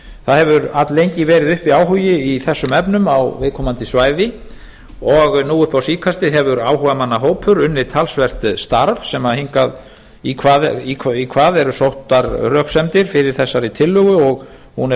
það hefur alllengi verið uppi áhugi í þessum efnum á viðkomandi svæði og nú upp á síðkastið hefur áhugamannahópur unnið talsvert starf í hvað eru sóttar röksemdir fyrir þessari tillögu og hún er